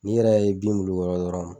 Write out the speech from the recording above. N'i yɛrɛ ye bin m'olurukɔrɔ